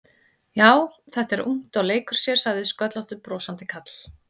Já, þetta er ungt og leikur sér sagði sköllóttur brosandi karl.